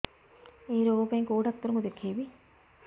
ଏଇ ରୋଗ ପାଇଁ କଉ ଡ଼ାକ୍ତର ଙ୍କୁ ଦେଖେଇବି